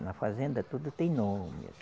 Na fazenda tudo tem nome.